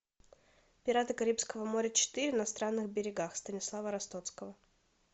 пираты карибского моря четыре на странных берегах станислава ростоцкого